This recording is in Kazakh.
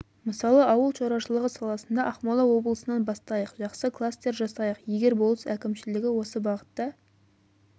мысалы ауыл шаруашылығы саласында ақмола облысынан бастайық жақсы кластер жасайық егер облыс әкімшілігі осы бағытта